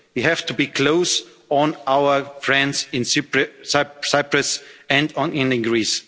mediator. We have to be close to our friends in Cyprus